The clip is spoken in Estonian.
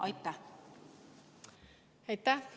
Aitäh!